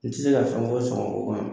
N tɛ se ka fɛn fɔ sɔngɔko kan